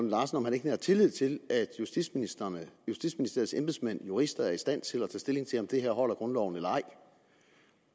larsen om han ikke nærer tillid til at justitsministeren og justitsministeriets embedsmænd og jurister er i stand til at tage stilling til om det her holder grundloven eller ej